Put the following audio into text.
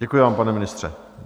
Děkuji vám, pane ministře.